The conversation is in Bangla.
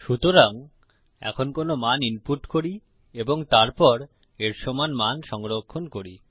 সুতরাং এখন কোনো মান ইনপুট করি এবং তারপর এর সমান মান সংরক্ষণ করি